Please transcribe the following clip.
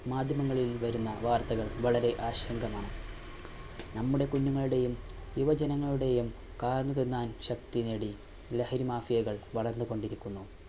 മാധ്യമങ്ങളിൽ വരുന്ന വാർത്തകൾ വളരെ ആശങ്കമാണ്. നമ്മുടെ കുഞ്ഞുങ്ങളുടെയും യുവജനങ്ങളുടെയും കാർന്നു തിന്നാൻ ശക്തി നേടി ലഹരി മാഫിയകൾ വളർന്നു കൊണ്ടിരിക്കുന്നു.